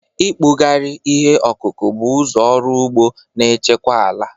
Ịkpụgharị ihe ọkụkụ bụ ụzọ ọrụ ugbo na-echekwa ala